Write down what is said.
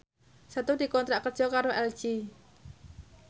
Setu dikontrak kerja karo LG